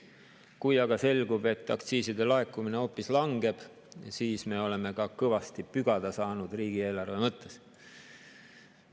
Kui aga selgub, et aktsiiside laekumine hoopis langeb, siis me oleme ka kõvasti pügada saanud riigieelarve mõttes.